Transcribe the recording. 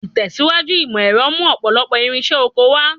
Ìtẹ̀síwájú ìmọ̀ ẹ̀rọ mú ọ̀pọ̀lọpọ̀ irinṣẹ́ oko wá.